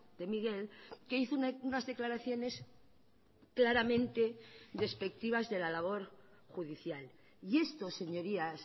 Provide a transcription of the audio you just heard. de miguel que hizo unas declaraciones claramente despectivas de la labor judicial y esto señorías